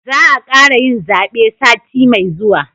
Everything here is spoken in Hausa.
Za a kara yin zabe sati mai zuwa